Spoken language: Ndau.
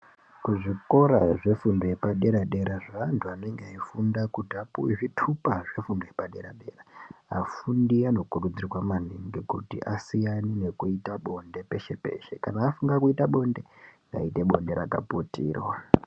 Kuzvikora zvefundo yepadera-dera zvaantu anenge eifunda kuti apuve zvitupa zvefundo yepadera-dera. Afundi anokurudzirwa maningi kuti asiyane nekuita bonde peshe-peshe. Kana afunga kuita bonde ngaite bonde rakaputirwa.